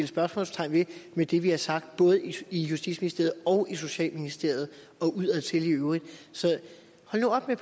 spørgsmålstegn ved i det vi har sagt både i justitsministeriet og i socialministeriet og udadtil i øvrigt så hold nu op med